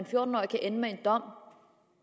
fjorten årig kan ende med en dom